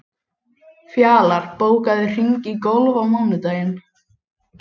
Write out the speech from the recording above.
Fjalar, bókaðu hring í golf á mánudaginn.